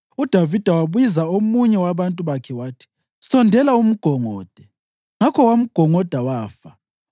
UDavida wabiza omunye wabantu bakhe wathi, “Sondela umgongode!” Ngakho wamgongoda wafa.